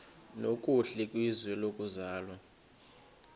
nokuhle kwizwe lokuzalwa